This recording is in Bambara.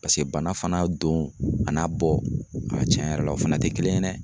Paseke bana fana don a n'a bɔ a tiɲɛ yɛrɛ la, o fana te kelen ye dɛ.